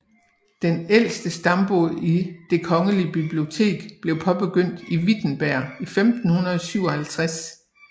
Den ældste stambog i Det kongelige Bibliotek blev påbegyndt i Wittenberg 1557